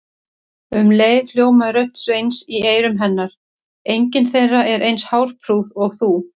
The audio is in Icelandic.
Um leið hljómaði rödd Sveins í eyrum hennar: engin þeirra er eins hárprúð og þú